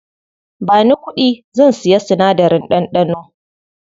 Bani kuɗi, zan siya sinadarin ɗanɗano.